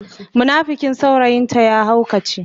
munafikin saurayin ta ya haukace.